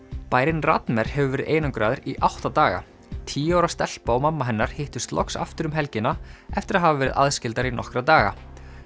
bærinn hefur verið einangraður í átta daga tíu ára stelpa og mamma hennar hittust loks aftur um helgina eftir að hafa verið aðskildar í nokkra daga